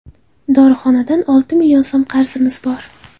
Dorixonadan olti million so‘m qarzimiz bor.